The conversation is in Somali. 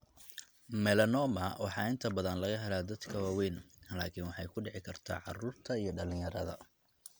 Melanoma waxaa inta badan laga helaa dadka waaweyn, laakiin waxay ku dhici kartaa carruurta iyo dhalinyarada.